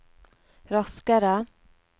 raskere